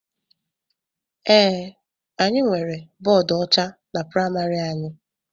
Ee, anyị nwere bọọdu ọcha na praịmarị anyị.